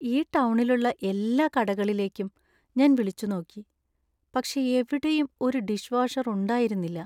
ഈ ടൗണിലുള്ള എല്ലാ കടകളിലേക്കും ഞാൻ വിളിച്ചു നോക്കി ,പക്ഷേ എവിടെയും ഒരു ഡിഷ് വാഷർ ഉണ്ടായിരുന്നില്ല.